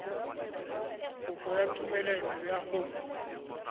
kopo ya tumelelo ya go